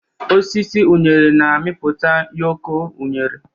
Osisi unere na-amịpụta ụyọkọ unere.